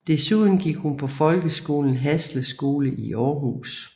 Desuden gik hun på folkeskolen Hasle Skole i Århus